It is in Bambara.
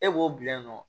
E b'o bila yen nɔ